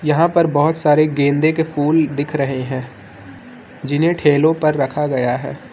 यहां पर बहोत सारे गेंदे के फूल दिख रहे हैं जिन्हें ठेलों पर रखा गया है।